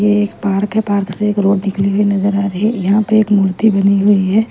ये एक पार्क है पार्क से एक रोड निकली हुई नज़र आ रही है यहाँ पर एक मूर्ति बनी हुई है।